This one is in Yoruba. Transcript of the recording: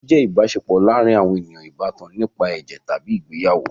Ẹbi jẹ́ ìbáṣepọ̀ láàárin àwọn ènìyàn ìbátan nípa ẹ̀jẹ̀ tàbí ìgbéyàwó.